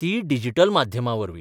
तीय डिजिटल माध्यमावरवीं.